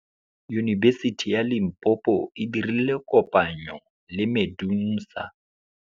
Yunibesiti ya Limpopo e dirile kopanyô le MEDUNSA.